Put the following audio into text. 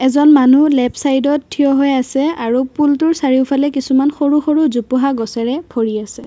এজন মানু্হ লে'ফট ছাইডত থিয় হৈ আছে আৰু পুলটোৰ চাৰিওফলে কিছুমান সৰু সৰু জোপোহা গছেৰে ভৰি আছে।